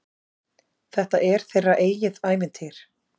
Þetta er þeirra eigið ævintýr.